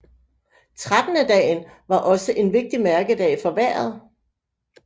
Trettendedagen var også en vigtig mærkedag for vejret